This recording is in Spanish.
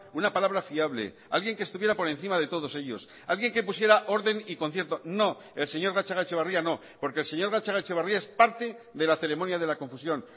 una palabra fiable alguien que estuviera por encima de todos ellos alguien que pusiera orden y concierto no el señor gatzagaetxebarria no porque el señor gatzagaetxebarria es parte de la ceremonia de la confusión